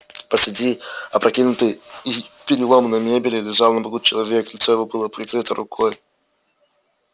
посреди опрокинутой и переломанной мебели лежал на боку человек лицо его было прикрыто рукой